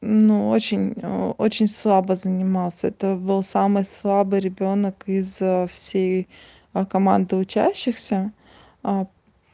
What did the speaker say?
но очень очень слабо занимался это был самый слабый ребёнок из всей команды учащихся а